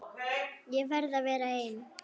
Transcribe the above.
Ég verð að vera ein.